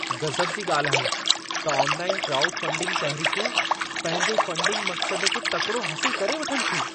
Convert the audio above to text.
गज़ब जी ॻाल्हि आहे त ऑनलाइन क्राउडफंडिंग तहरीक़ूं, पंहिंजे फंडिंग मक़्सद खे तकिड़ो हासिल करे वठनि थियूं।